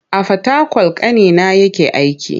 A Fatakwal ƙanina yake aiki.